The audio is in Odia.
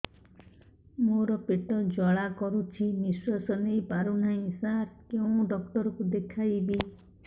ମୋର ପେଟ ଜ୍ୱାଳା କରୁଛି ନିଶ୍ୱାସ ନେଇ ପାରୁନାହିଁ ସାର କେଉଁ ଡକ୍ଟର କୁ ଦେଖାଇବି